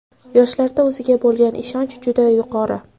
Yoshlarda o‘ziga bo‘lgan ishonch juda yuqori.